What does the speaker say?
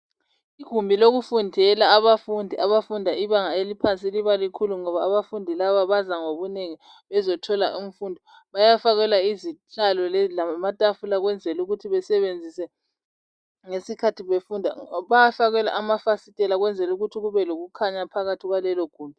Igumbi lokufundela abafundi abafunda ibanga laphansi liba likhulu ngoba abafundi laba baza ngobunengi bezothola imfundo , bayafakelwa izihlalo lamatafula ukwenzela ukuthi besebenzise ngesikhathi befunda , bayafakelwa amafasitela ukwenzela ukuthi kube lokukhanya phakathi kwalelogumbi